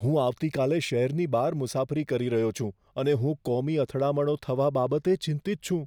હું આવતીકાલે શહેરની બહાર મુસાફરી કરી રહ્યો છું અને હું કોમી અથડામણો થવા બાબતે ચિંતિત છું.